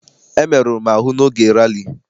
Emeruru m ahụ n'oge rali.